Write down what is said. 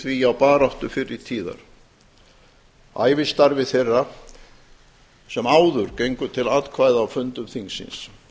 því á baráttu fyrri tíðar ævistarfi þeirra sem áður gengu til atkvæða á fundum þingsins